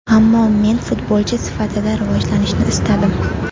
Ammo men futbolchi sifatida rivojlanishni istadim.